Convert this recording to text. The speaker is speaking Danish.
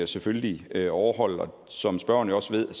selvfølgelig overholde og som spørgeren også ved